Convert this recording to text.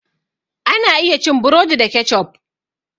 Ana iya cin burodi da keccof.